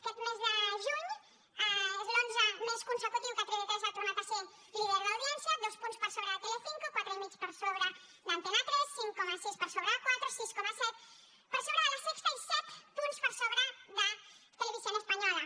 aquest mes de juny és l’onze mes consecutiu que tv3 ha tornat a ser líder d’audiència dos punts per sobre de telecinco quatre i mig per sobre d’antena tres cinc coma sis per sobre de cuatro sis coma set per sobre de la sexta i set punts per sobre de televisión española